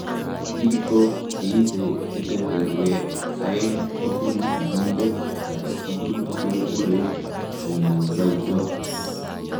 Biko cheibe kebeberwek aeng' kobun sigindet age tugul kekure homozygotes.